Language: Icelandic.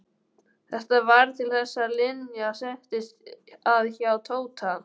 Þetta varð til þess að Linja settist að hjá Tóta.